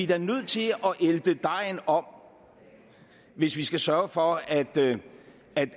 da nødt til at ælte dejen om hvis vi skal sørge for at